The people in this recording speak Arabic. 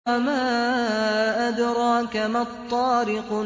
وَمَا أَدْرَاكَ مَا الطَّارِقُ